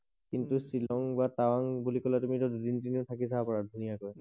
কিন্তু শ্বিলং বা তাৱাং বুলি কলে তুমি এতিয়া দুদিন তিনি দিন থাকি চাব পাৰা ধুনীয়াকৈ